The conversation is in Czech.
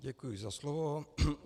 Děkuji za slovo.